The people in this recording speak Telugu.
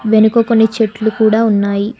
వెనుక కొన్ని చెట్లు కూడా ఉన్నాయి.